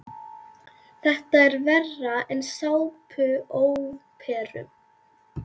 Þetta er verra en í sápuóperum.